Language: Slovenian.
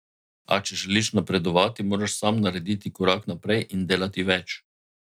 A če želiš napredovati, moraš sam narediti korak naprej in delati več.